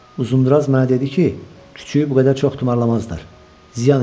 Uzundraz mənə dedi ki, küçüyü bu qədər çox tumarlamazdılar, ziyan eləyər.